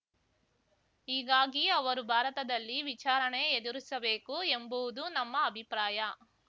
ಹೀಗಾಗಿ ಅವರು ಭಾರತದಲ್ಲಿ ವಿಚಾರಣೆ ಎದುರಿಸಬೇಕು ಎಂಬುವುದು ನಮ್ಮ ಅಭಿಪ್ರಾಯ